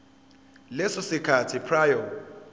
leso sikhathi prior